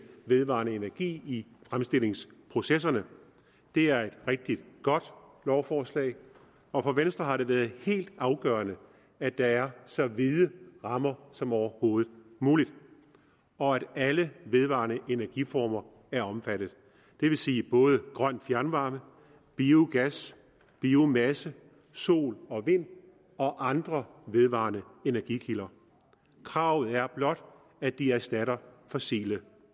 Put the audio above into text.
vedvarende energi i fremstillingsprocesserne det er et rigtig godt lovforslag og for venstre har det været helt afgørende at der er så vide rammer som overhovedet muligt og at alle vedvarende energiformer er omfattet det vil sige både grøn fjernvarme biogas biomasse sol og vind og andre vedvarende energikilder kravet er blot at de erstatter fossile